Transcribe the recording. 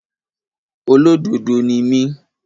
Olódodo ni mí.